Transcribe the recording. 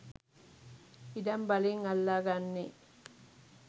ඉඩම් බලෙන් අල්ලා ගන්නේ